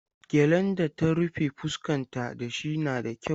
Gyallen da ta rufe fuskanta da shi na da kyau.